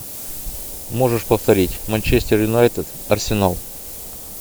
можешь повторить манчестер юнайтед арсенал